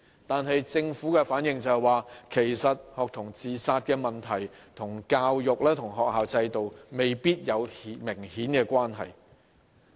然而，政府回應時卻表示，學童自殺問題與教育和學校制度未必有明顯關係。